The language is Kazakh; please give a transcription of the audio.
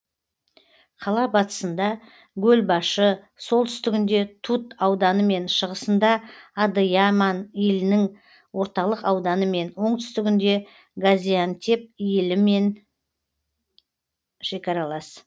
қала батысында гөлбашы солтүстігінде тут ауданымен шығысында адыяман илінің орталық ауданымен оңтүстігінде газиантеп илімен шекаралас